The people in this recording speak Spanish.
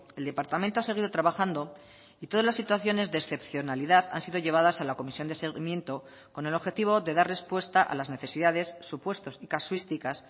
el departamento ha seguido trabajando y todas las situaciones de excepcionalidad han sido llevadas a la comisión de seguimiento con el objetivo de dar respuesta a las necesidades supuestos y casuísticas